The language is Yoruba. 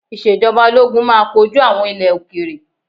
Ìṣèjọba Ológun máa kojú àwọn ilẹ̀ òkèèrè.